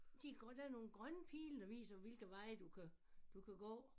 De der nogle grønne pile der viser hvilke veje du kan du kan gå